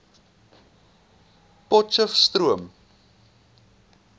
potcheftsroom